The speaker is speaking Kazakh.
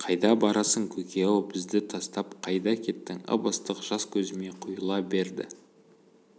қайда барасың көке-ау бізді тастап қайда кеттің ып-ыстық жас көзіме құйыла берді